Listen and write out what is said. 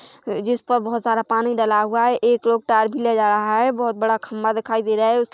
जिसपर बहुत सारा पानी डला हुआ है। एक लोग टायर भी लेजा रहा है। बहुत बार खम्बा दिखाई दे रहा है। उसके--